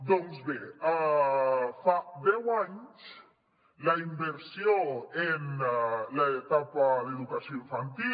doncs bé fa deu anys la inversió en l’etapa d’educació infantil